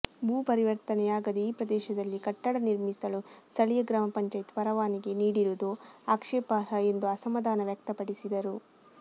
ಭೂಪರಿವರ್ತನೆಯಾಗದೆ ಈ ಪ್ರದೇಶದಲ್ಲಿ ಕಟ್ಟಡ ನಿರ್ಮಿಸಲು ಸ್ಥಳೀಯ ಗ್ರಾಮ ಪಂಚಾಯತ್ ಪರವಾನಿಗೆ ನೀಡಿರುವುದು ಆಕ್ಷೇಪಾರ್ಹ ಎಂದು ಅಸಮಾಧನ ವ್ಯಕ್ತಪಡಿಸಿದರು